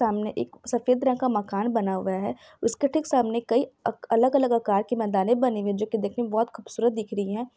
सामने एक सफेद रंग का मकान बना हुआ है उसके ठीक सामने कई अलग-अलग अकाड़ के मंदाने बनी हुई है जो कि दिखने में बहुत खूबसूरत दिख रही है।